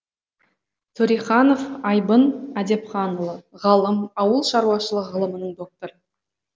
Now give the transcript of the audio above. төреханов айбын әдепханұлы ғалым ауыл шаруашылығы ғылымының докторы